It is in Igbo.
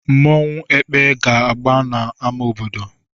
Nmanwu "Ekpe" ga-agba na ama obodo.